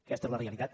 aquesta és la realitat